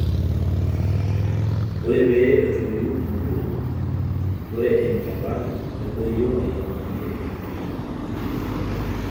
ore pee etoyu inkulupuok, ore enchalan nedoyio airiamariyie entoyiei